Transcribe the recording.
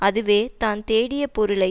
அதுவே தான் தேடிய பொருளை